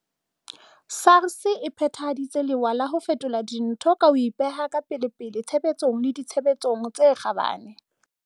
SARS e phethaditse lewa la ho fetola dintho ka ho ipeha ka pelepele tshebetsong le ditshebeletsong tse kgabane.